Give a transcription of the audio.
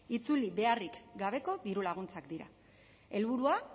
itzuli beharrik gabeko diru laguntzak dira helburua